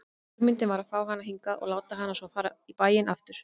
Hugmyndin var að fá hana hingað og láta hana svo fara í bæinn aftur.